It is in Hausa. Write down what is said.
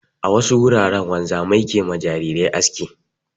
A wasu wuraren wanzamia ke ma jarirai aski.